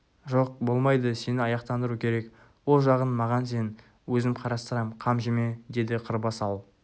жоқ болмайды сені аяқтандыру керек ол жағын маған сен өзім қарастырам қам жеме деді қырбас ал